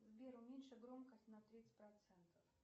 сбер уменьши громкость на тридцать процентов